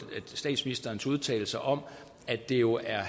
statsministerens udtalelser om at det jo er